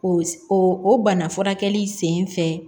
O o bana furakɛli sen fɛ